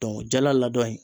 jala ladɔn in